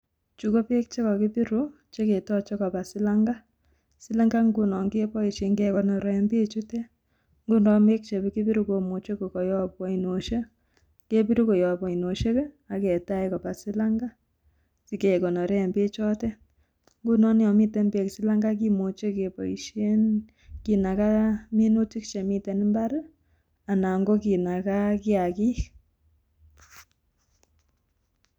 Chu ko peek chekokipiru, chekitoche kopa silang'a. Silang'a ng'unon keboisien kekonoren peek chutet. Ngunon peek chekokipiru komuche kokoyopu oinosiek. Kepiru koyop oinosiek, aketach kopa silang'a. Sikekonoren pek chotet. Ngunon yomite peek silang'a kimuche keboisien, kinaga minutik chemiten imbar anan ko kinaga kiagik.